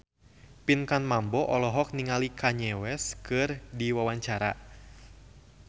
Pinkan Mambo olohok ningali Kanye West keur diwawancara